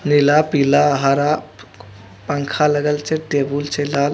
नीला पिला हरा पंखा लगल छै टेबुल छै लाल।